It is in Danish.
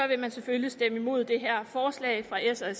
vil man selvfølgelig stemme imod det her forslag fra s og